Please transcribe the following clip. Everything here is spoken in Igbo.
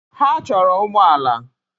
Ha chọrọ ụgbọ ala